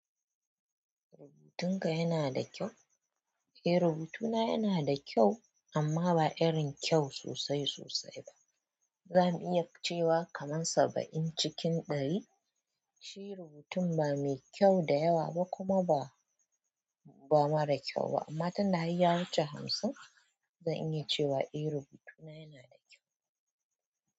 Rubutunka yana da kyau? Eh rubutuna yana da kyau amma ba irin kyau sosai sosai ba. Zani iya cewa kaman saba'in cikin ɗari. Shi rubutun ba mai kyau da yawa ba kuma ba, ba mara kyau ba amma tunda har ya wuce hamsin. Zan iya cewa eh, rubutu na yana da kyau.